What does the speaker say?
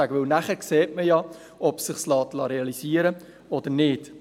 Denn man sieht ja dann, ob es sich realisieren lässt oder nicht.